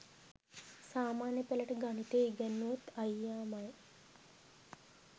සාමාන්‍ය පෙළට ගණිතය ඉගැන්නුවෙත් අයියාමයි.